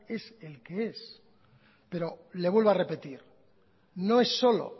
es el que es pero le vuelvo a repetir no es solo